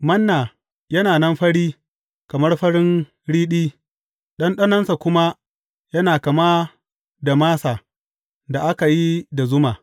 Manna yana nan fari kamar farin riɗi, ɗanɗanonsa kuma yana kama da masa da aka yi da zuma.